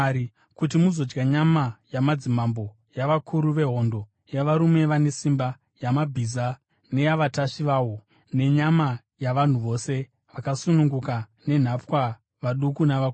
kuti muzodya nyama yamadzimambo, yavakuru vehondo, yavarume vane simba, yamabhiza neyavatasvi vawo, nenyama yavanhu vose, vakasununguka nenhapwa, vaduku navakuru.”